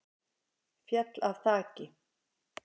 Féll af þaki